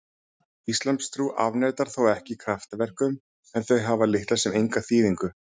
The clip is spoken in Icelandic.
Íslamstrú afneitar þó ekki kraftaverkum en þau hafa litla sem enga þýðingu.